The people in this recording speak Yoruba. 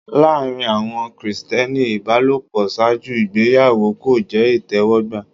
Láàrín àwọn Krìsìtẹ́nì ìbálòpọ̀ ṣáájú ìgbéyàwó kò jẹ́ ìtẹ́wọ́gbà.